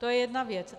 To je jedna věc.